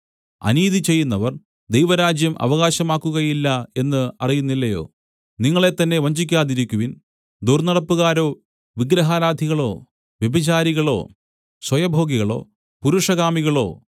അനീതി ചെയ്യുന്നവർ ദൈവരാജ്യം അവകാശമാക്കുകയില്ല എന്ന് അറിയുന്നില്ലയോ നിങ്ങളെത്തന്നെ വഞ്ചിക്കാതിരിക്കുവിൻ ദുർന്നടപ്പുകാരോ വിഗ്രഹാരാധികളോ വ്യഭിചാരികളോ സ്വയഭോഗികളോ പുരുഷകാമികളോ